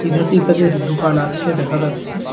তাদের দুকান আছে দেখা যাচ্ছে।